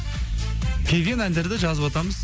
келген әндерді жазыватамыз